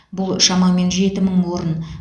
бұл шамамен жеті мың орын